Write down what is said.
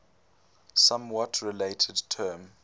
somewhat related term